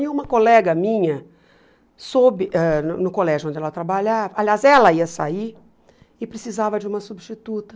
E uma colega minha, soube ãh no no colégio onde ela trabalhava, aliás, ela ia sair e precisava de uma substituta.